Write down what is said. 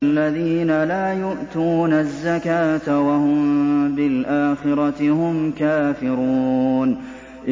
الَّذِينَ لَا يُؤْتُونَ الزَّكَاةَ وَهُم بِالْآخِرَةِ هُمْ كَافِرُونَ